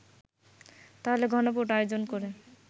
তাহলে গণভোট আয়োজন করে